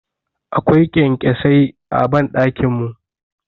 Akwai Ƙyamƙyasai a banɗakin mu.